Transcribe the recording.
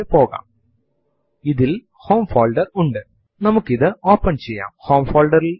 ചുരുക്കത്തിൽ ഏതു command ന്റെയും ഔട്ട്പുട്ട് ഈ വിധത്തിൽ നമ്മൾക്ക് ഒരു file ൽ ശേഖരിച്ചു വയ്ക്കുവാൻ കഴിയും